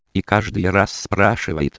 и каждый раз спрошу